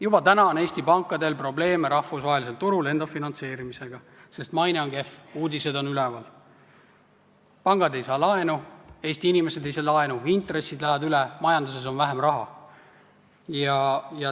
Juba täna on Eesti pankadel rahvusvahelisel turul probleeme enda finantseerimisega, sest maine on kehv, uudised on üleval, pangad ei saa laenu, Eesti inimesed ei saa laenu, intressid lähevad üle, majanduses on vähem raha.